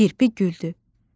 Kirpi güldü.